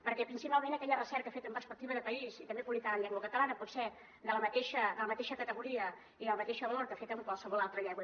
perquè principalment aquella recerca feta amb perspectiva de país i també publicada en llengua catalana pot ser de la mateixa categoria i del mateix valor que feta en qualsevol altra llengua